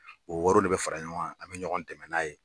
O wariw de bɛ fara ɲɔgɔn a bɛ ɲɔgɔn dɛmɛ n'a ye